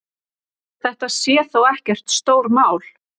Þetta sé þó ekkert stórmál.